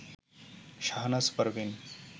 Shahnaz Parveen